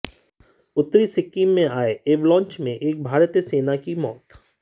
उत्तरी सिक्किम में आए एवलांच में एक भारतीय सेना की मौत